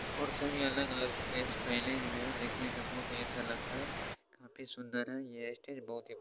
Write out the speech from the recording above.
और सभी अलग-अलग ड्रेस पहने हुए हैं दिखने में बहोत ही अच्छा लगता है काफी सुंदर है यह स्टेज बहोत ही --